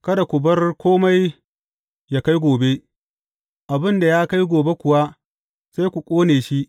Kada ku bar kome yă kai gobe, abin da ya kai gobe kuwa, sai ku ƙone shi.